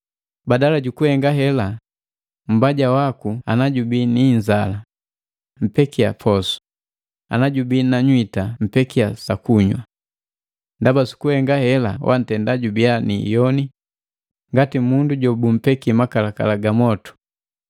Badala jukuhenga hela, “Mmbaja waku ana jubii ni inzala, mpekia posu, ana jubi na nywita mpekia sakunywa. Ndaba sukuhenga hela wantenda jubia ni iyoni ikolongu ngati mundu jobumbeki makalakala gamotu.”